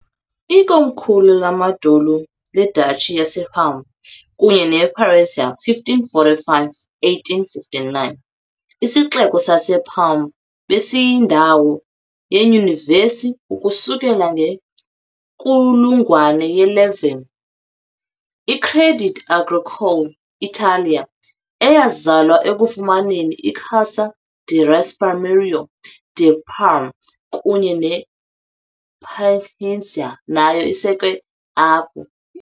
Ikomkhulu lamandulo leDuchy yaseParma kunye nePiacenza, 1545 - 1859, isixeko saseParma besiyindawo yeyunivesithi ukusukela ngenkulungwane ye-11. I-Crédit Agricole Italia, eyazalwa ekufumaneni iCassa di Risparmio di Parma kunye nePiacenza, nayo isekelwe apho.